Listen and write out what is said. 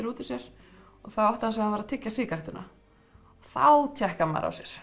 út úr sér og þá áttaði hann var að tyggja sígarettuna þá tékkar maður á sér